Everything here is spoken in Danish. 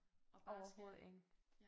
Overhovedet ikke